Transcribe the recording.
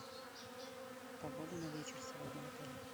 погода на вечер сегодня в отеле